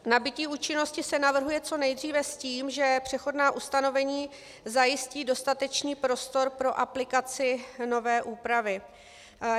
Nabytí účinnosti se navrhuje co nejdříve s tím, že přechodná ustanovení zajistí dostatečný prostor pro aplikaci nové úpravy.